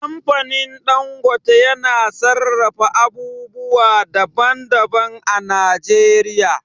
Kamfanin Dangote yana sarrafa abubuwa daban daban a Najeriya